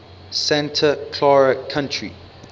santa clara county